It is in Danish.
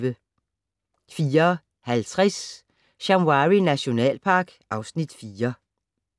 04:50: Shamwari nationalpark (Afs. 4)